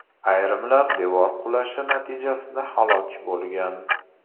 Ayrimlar devor qulashi natijasida halok bo‘lgan.